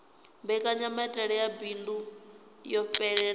mbekanyamaitele ya bindu yo fhelelaho